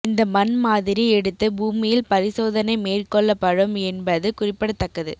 இந்த மண் மாதிரி எடுத்து பூமியில் பரிசோதனை மேற்கொள்ளப்படும் என்பது குறிப்பிடத்தக்கது